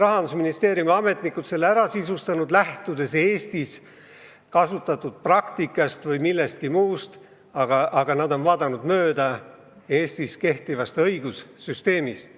Rahandusministeeriumi ametnikud selle ära sisustanud, lähtudes Eestis kasutatud praktikast või millestki muust, aga nad on vaadanud mööda Eestis kehtivast õigussüsteemist.